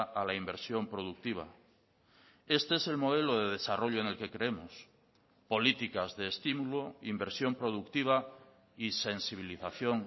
a la inversión productiva este es el modelo de desarrollo en el que creemos políticas de estímulo inversión productiva y sensibilización